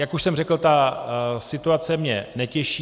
Jak už jsem řekl, ta situace mě netěší.